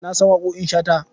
Na san waƙoƙin Shata.